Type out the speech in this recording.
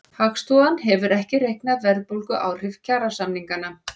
Hagstofan hefur ekki reiknað verðbólguáhrif kjarasamninganna